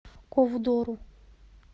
ковдору